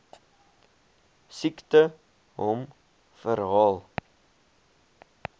siekte hom herhaal